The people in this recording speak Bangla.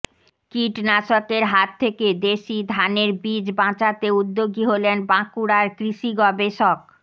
কীটনাশকের হাত থেকে দেশি ধানের বীজ বাঁচাতে উদ্যোগী হলেন বাঁকুড়ার কৃষি গবেষক